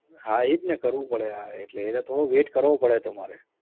હા ઇજને કરવું પડે હા એટલે થોડો wait કરવો પડે તમારે